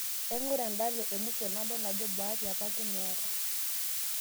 Aing'ura endala emusho nadol ajo baati apake meeta